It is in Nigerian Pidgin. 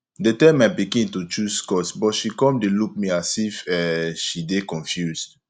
dey tell my pikin to choose course but she come dey look me a as if um she dey confused